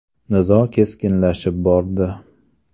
Nizo keskinlashib bordi.